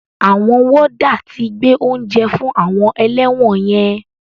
Àwọn wọ́dà ti gbé oúnjẹ fún àwọn ẹlẹ́wọ̀n yẹn.